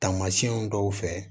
Taamasiyɛnw dɔw fɛ